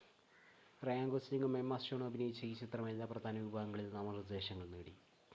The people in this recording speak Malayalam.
റയാൻ ഗോസ്‌ലിംഗും എമ്മ സ്റ്റോണും അഭിനയിച്ച ഈ ചിത്രം എല്ലാ പ്രധാന വിഭാഗങ്ങളിലും നാമനിർദ്ദേശങ്ങൾ നേടി